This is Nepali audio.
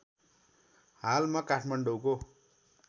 हाल म काठमाडौँको